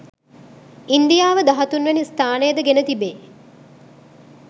ඉන්දියාව දහතුන් වැනි ස්ථානය ද ගෙන තිබේ